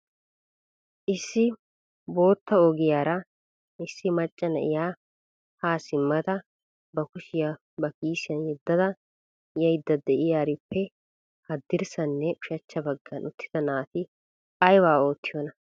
issi boota ogiyaara issi macca na'iyaa ha simmida ba kushiyaa ba kiisiyan yedada yaydda de'iyaarippe haddirssanne ushachcha baggan uttida naati aybba oottiyoona?